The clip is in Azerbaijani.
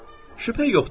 Şübhə yoxdur.